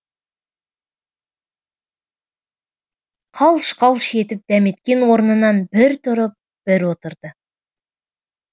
қалш қалш етіп дәметкен орнынан бір тұрып бір отырды